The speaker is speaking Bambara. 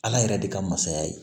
Ala yɛrɛ de ka masaya ye